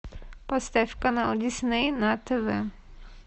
поставь канал дисней на тв